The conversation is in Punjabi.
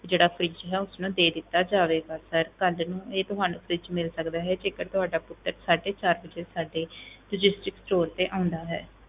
ਜਿਹੜਾ fridge ਹੈ ਉਸਨੂੰ ਦੇ ਦਿੱਤਾ ਜਾਵੇਗਾ sir ਕੱਲ੍ਹ ਨੂੰ ਇਹ ਤੁਹਾਨੂੰ fridge ਮਿਲ ਸਕਦਾ ਹੈ, ਜੇਕਰ ਤੁਹਾਡਾ ਪੁੱਤਰ ਸਾਢੇ ਚਾਰ ਵਜੇ ਸਾਡੇ logistic store ਤੇ ਆਉਂਦਾ ਹੈ